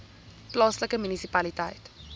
plaaslike munisipaliteit